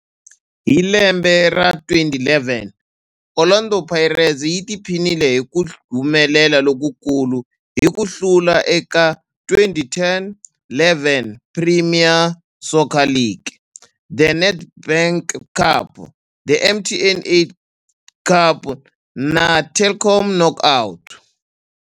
Hi lembe ra 2011, Orlando Pirates yi tiphinile hi ku humelela lokukulu hi ku hlula eka 2010-11 Premier Soccer League, The Nedbank Cup, The MTN 8 Cup na The Telkom Knockout.